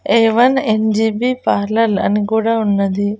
ఏ one N G B parlour అని కూడా ఉన్నది.